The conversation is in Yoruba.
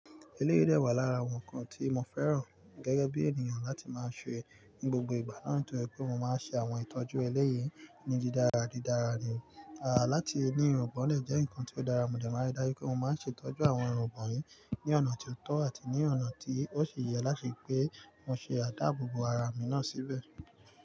Eléyìí dẹwà lára àwọn ǹkan tí mo fẹ́ràn gẹ́gẹ́ bí ènìyàn láti máa ṣe ní gbogbo ìgbà naa to je wi pé mo máa ń ṣe àwọn ìtọ́jú ẹlẹ́yìí ní didára didára ni. Àh láti ní irun gbọ̀n dẹ jẹ́ ǹkan tí ó dára, mo dẹ̀ máa ń ri dáyí pé mo máa ń ṣe ìtọ́jú àwọn irungbọ̀n yín ní ọ̀nà tó tọ́ àti ní ọ̀nà tí ó sì yẹ láti ri pé mo ṣe àdáàbò bo ara mi náà síbẹ̀